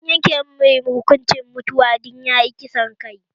An yanke mashi hukuncin mutuwa dan yayi kisan kai